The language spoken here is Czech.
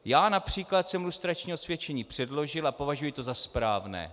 Já například jsem lustrační osvědčení předložil a považuji to za správné.